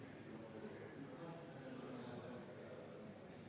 Ettepaneku poolt on 3 Riigikogu liiget, vastu 23.